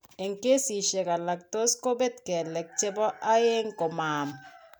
En kesiisyek alak tos kobet kelek chebo aeng komaam.